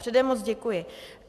Předem moc děkuji.